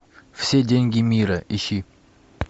все деньги мира ищи